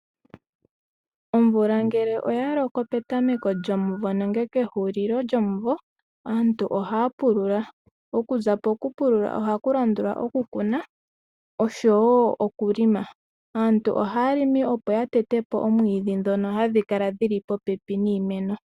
Omvula ngele oyaloko petameko lyomuvo nenge pehulilo lyomuvo aantu ohaya pulula, okuza pokupulula ohakulandula okukuna osho wo okulima. Aantu ohaya limi opo yatete po omwiidhi ngono hagukala guli popepi niimeno.